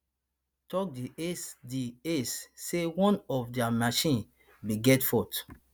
tok di ec di ec say one of dia machines bin get fault